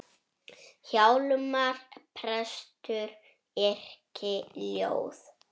Hjálmar prestur yrkir ljóð.